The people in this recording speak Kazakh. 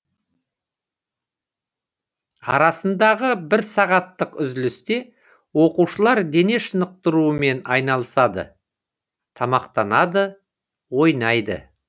арасындағы бір сағаттық үзілісте оқушылар дене шынықтырумен айналысады тамақтанады ойнайды